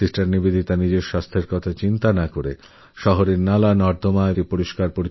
sister Nivedita নিজের শরীরস্বাস্থ্য অবজ্ঞা করেরাস্তাঘাট নর্দমা সাফাই অভিযানে এগিয়ে আসেন